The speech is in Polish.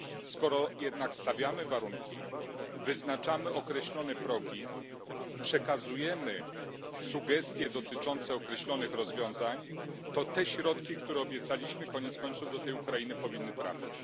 Skoro jednak stawiamy warunki, wyznaczamy określone progi, przekazujemy sugestie dotyczące określonych rozwiązań, to te środki, które obiecaliśmy, koniec końców do tej Ukrainy powinny trafić.